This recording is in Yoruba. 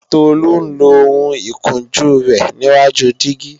Tolu ń lo ohun ìkunjú rẹ níwáju dígí